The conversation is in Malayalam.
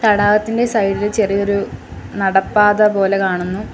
തടാകത്തിന്റെ സൈഡ് ഇൽ ചെറിയൊരു നടപ്പാത പോലെ കാണുന്നു.